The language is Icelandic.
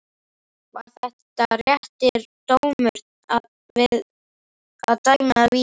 Var þetta réttur dómur að dæma vítið?